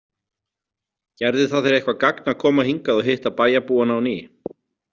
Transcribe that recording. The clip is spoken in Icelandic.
Gerði það þér eitthvert gagn að koma hingað og hitta bæjarbúana á ný?